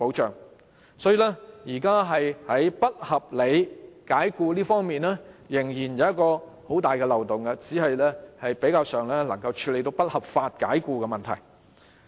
所以，《條例草案》現時在不合理解僱方面的保障仍然存有很大的漏洞，只是比較上能處理不合法解僱的問題。